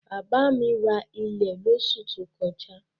Bàbá mi ra ilẹ̀ lósù tí ó kọjá